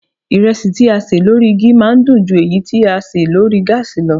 Ìrẹsì tí a ṣè lórí igi máa ń dùn ju èyí tí a ṣe lórí gáàsì lọ